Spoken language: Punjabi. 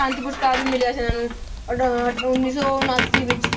ਸ਼ਾਂਤੀ ਪੁਰਸਕਾਰ ਵੀ ਮਿਲਿਆ ਸੀ ਇਹਨਾਂ ਨੂੰ ਉੱਨੀ ਸੌ ਉਣਾਸੀ ਵਿੱਚ।